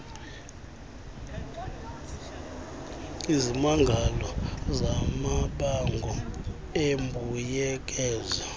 izimangalo zamabango embuyekezo